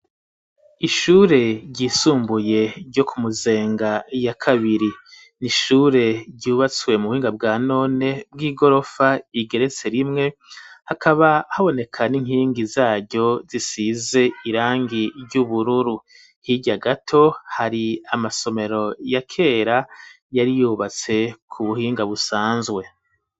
Ishure ryisumbuye ryo Kumuzenga ya kabiri, n'ishure ryubatswe mu buhinga bwa none bw'igorofa igeretse rimwe, akaba haboneka n'inkingi zaryo zisize irangi ry'ubururu ,hirya gato hari amasomero ya kera yari yubatse kubuhinga busanzwe.